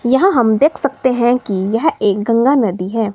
यहां हम देख सकते है कि यह एक गंगा नदी है।